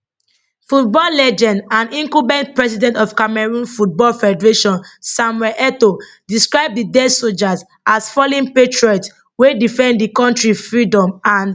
football legend and incumbent president of cameroon football federation samuel etoo describe di dead sojas as fallen patriots wey defend di kontri freedom and integrity